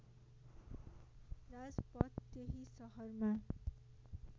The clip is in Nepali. राजपथ त्यही शहरमा